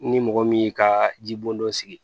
Ni mɔgɔ min y'i ka jibondon dɔ sigi